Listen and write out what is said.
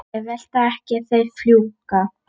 Þeir velta ekki, þeir fljúga.